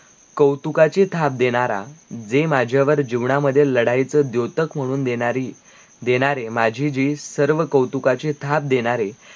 कौतुकाची थाप देनारा, जे माझ्यावर जीवनामधे लडाइयच जोतक म्हणून देनारी, देनारे माझे जी सर्वकौतुकाची थाप देनारे,